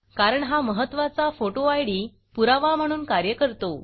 कारण हा महत्त्वाचा फोटो आयडी पुरावा म्हणून कार्य करतो